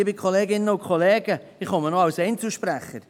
Ich komme noch als Einzelsprecher.